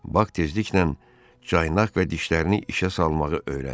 Bax tezliklə caynaq və dişlərini işə salmağı öyrəndi.